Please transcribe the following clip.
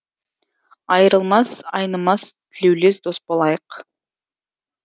айырылмас ай нымас тілеулес дос болайық